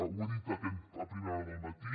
ho he dit a primera hora del matí